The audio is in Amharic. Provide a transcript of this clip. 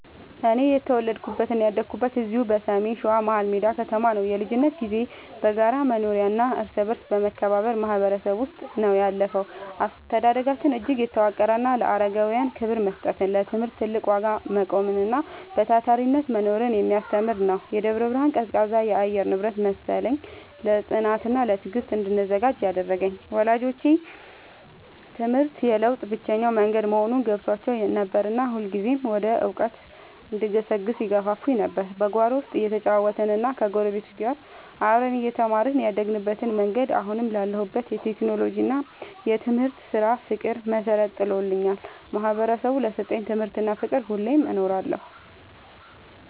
እኔ የተወለድኩትና ያደግኩት እዚሁ በሰሜን ሸዋ፣ መሀልሜዳ ከተማ ነው። የልጅነት ጊዜዬ በጋራ መኖሪያና እርስ በርስ በመከባበር ማህበረሰብ ውስጥ ነው ያለፈው። አስተዳደጋችን እጅግ የተዋቀረና ለአረጋውያን ክብር መስጠትን፣ ለትምህርት ትልቅ ዋጋ መቆምንና በታታሪነት መኖርን የሚያስተምር ነበር። የደብረ ብርሃን ቀዝቃዛ የአየር ንብረት መሰለኝ፣ ለጽናትና ለትዕግስት እንድዘጋጅ ያደረገኝ። ወላጆቼ ትምህርት የለውጥ ብቸኛው መንገድ መሆኑን ገብቷቸው ነበርና ሁልጊዜም ወደ እውቀት እንድገሰግስ ይገፋፉኝ ነበር። በጓሮ ውስጥ እየተጫወትንና ከጎረቤቶች ጋር አብረን እየተማርን ያደግንበት መንገድ፣ አሁን ላለሁበት የቴክኖሎጂና የትምህርት ስራ ፍቅር መሰረት ጥሎልኛል። ማህበረሰቡ ለሰጠኝ ትምህርትና ፍቅር ሁሌም እኖራለሁ።